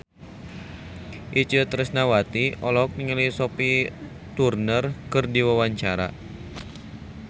Itje Tresnawati olohok ningali Sophie Turner keur diwawancara